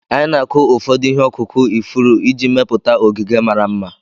Anyị na-akụ ụfọdụ ihe ọkụkụ ifuru iji mepụta ogige mara mma.